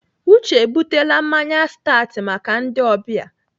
Uche ebutele mmanya stat maka ndị ọbịa.